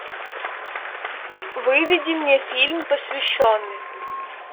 выведи мне фильм посвященный